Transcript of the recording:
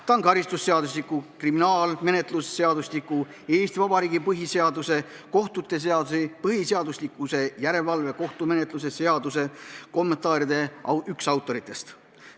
Ta on üks karistusseadustiku, kriminaalmenetluse seadustiku, Eesti Vabariigi põhiseaduse, kohtute seaduse ja põhiseaduslikkuse järelevalve kohtumenetluse seaduse kommentaaride autoritest.